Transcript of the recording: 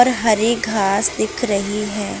हरे घास दिख रही है।